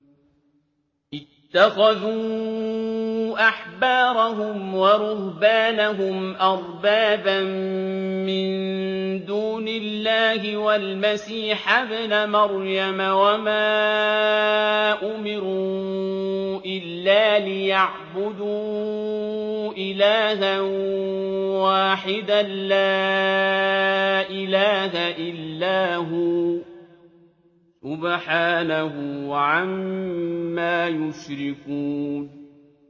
اتَّخَذُوا أَحْبَارَهُمْ وَرُهْبَانَهُمْ أَرْبَابًا مِّن دُونِ اللَّهِ وَالْمَسِيحَ ابْنَ مَرْيَمَ وَمَا أُمِرُوا إِلَّا لِيَعْبُدُوا إِلَٰهًا وَاحِدًا ۖ لَّا إِلَٰهَ إِلَّا هُوَ ۚ سُبْحَانَهُ عَمَّا يُشْرِكُونَ